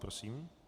Prosím.